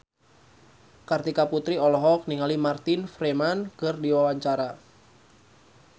Kartika Putri olohok ningali Martin Freeman keur diwawancara